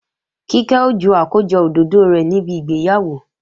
Kíkẹ́ ó ju àkójọ òdòdó rẹ̀ níbi ìgbéyàwó